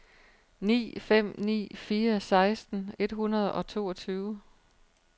ni fem ni fire seksten et hundrede og toogtyve